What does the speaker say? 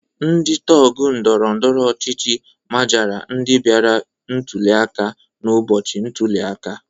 Ndị tọgụ ndọrọndọrọ ọchịchị majara ndị bịara ntuli aka n'ụbọchị ntuli aka.